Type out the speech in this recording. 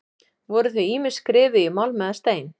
Voru þau ýmist skrifuð í málm eða stein.